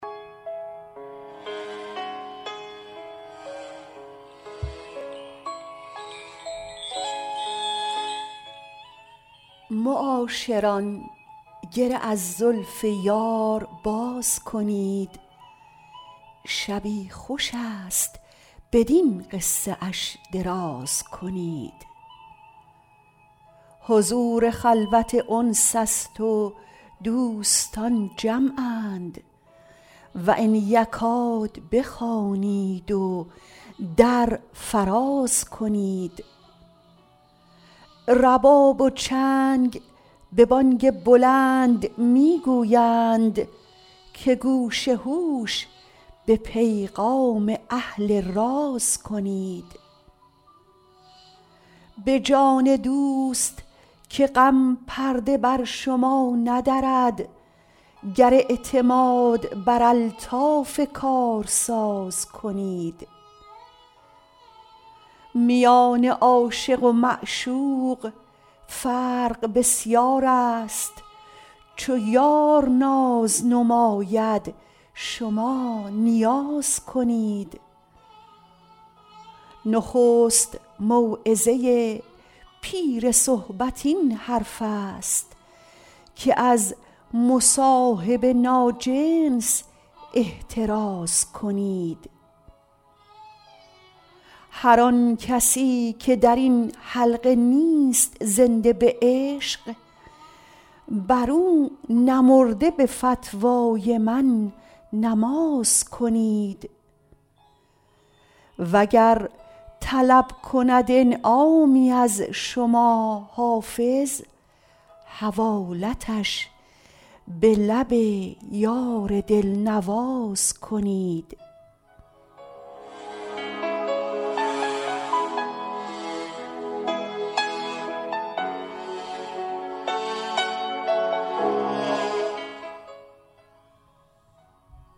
معاشران گره از زلف یار باز کنید شبی خوش است بدین قصه اش دراز کنید حضور خلوت انس است و دوستان جمعند و ان یکاد بخوانید و در فراز کنید رباب و چنگ به بانگ بلند می گویند که گوش هوش به پیغام اهل راز کنید به جان دوست که غم پرده بر شما ندرد گر اعتماد بر الطاف کارساز کنید میان عاشق و معشوق فرق بسیار است چو یار ناز نماید شما نیاز کنید نخست موعظه پیر صحبت این حرف است که از مصاحب ناجنس احتراز کنید هر آن کسی که در این حلقه نیست زنده به عشق بر او نمرده به فتوای من نماز کنید وگر طلب کند انعامی از شما حافظ حوالتش به لب یار دل نواز کنید